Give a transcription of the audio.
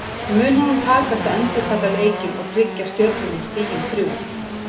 Mun honum takast að endurtaka leikinn og tryggja Stjörnunni stigin þrjú?